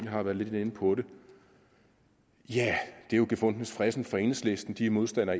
har været lidt inde på det ja det er jo gefundenes fressen for enhedslisten de er modstandere